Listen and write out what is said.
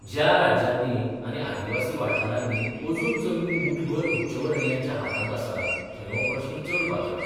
ज्या राज्यांनी आनी आदिवासी वाठारांनी अजून जमनी मुठभर उच्चवर्णियांच्या हातांत आसात थंय हो प्रस्न चड पातळ्ळा.